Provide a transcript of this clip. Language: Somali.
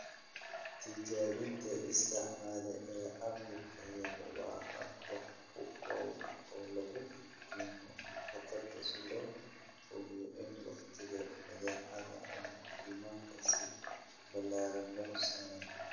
Tijaabinta isticmaale ee cabbirka yar waa hab wax ku ool ah oo lagu dhimo khatarta, si loo hubiyo in wakhtiga badeecada ama nidaamka si ballaaran loo soo saaray.